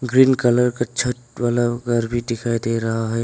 Green colour का छत वाला घर भी दिखाई दे रहा है।